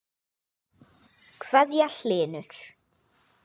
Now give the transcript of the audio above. kveðja, Hlynur.